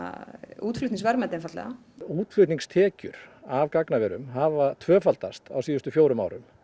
útflutningsverðmæti einfaldlega útflutningstekjur af gagnaverum hafa tvöfaldast á síðustu fjórum árum